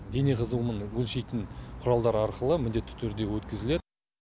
дене қызуының өлшейтін құралдары арқылы міндетті түрде өткізіледі